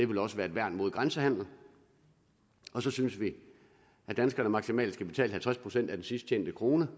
ville også være et værn mod grænsehandelen og så synes vi at danskerne maksimalt skal betale halvtreds procent af den sidst tjente krone